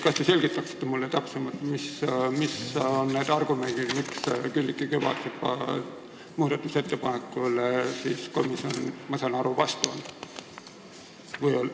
Kas te selgitaksite mulle täpsemalt, mis on need argumendid, miks komisjon Külliki Kübarsepa muudatusettepaneku vastu oli, nagu ma aru sain?